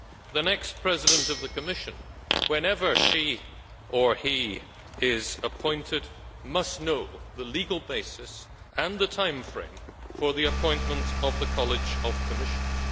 The next President of the Commission, whenever he or she is appointed, must know the legal basis and the timeframe for the appointment of the College of Commissioners.